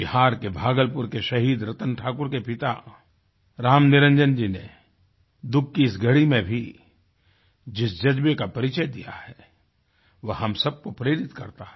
बिहार के भागलपुर के शहीद रतन ठाकुर के पिता रामनिरंजन जी नेदुःख की इस घड़ी में भी जिस ज़ज्बे का परिचय दिया है वह हम सबको प्रेरित करता है